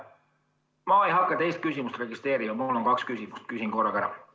Ma ei hakka teist küsimust registreerima, aga mul on kaks küsimust, nii et küsin korraga ära.